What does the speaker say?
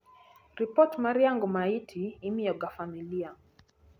ripot mar yango maiti imiyoga familia